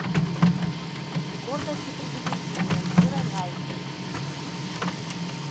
гордость и предубеждение с кирой найтли